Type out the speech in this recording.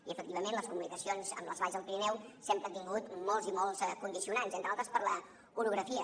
i efectivament les comunicacions amb les valls del pirineu sempre han tingut molts i molts condicionants entre altres per l’orografia